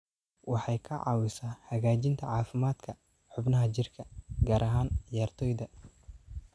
Waxay ka caawisaa hagaajinta caafimaadka xubnaha jirka, gaar ahaan ciyaartoyda.